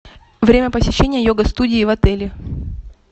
время посещения йога студии в отеле